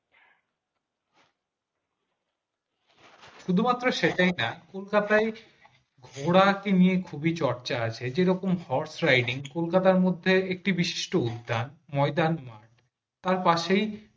শুধুমাত্র সেই জায়গা কলকাতাআই ঘোড়া কে নিয়ে খুবই চর্চা আছে যেরকম horse riding কলকাতা মধ্যে একটি বিশিষ্ট উদ্যান ময়দান মাঠ তার পাশেই